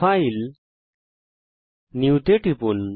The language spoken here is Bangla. ফাইল নিউ তে টিপুন